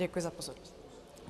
Děkuji za pozornost.